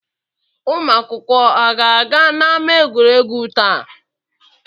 Ụmụ akwụkwọ a ga-aga n'ámá egwuregwu taa?